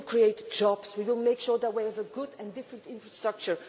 We will create jobs and we will make sure that we have a good and different infrastructure.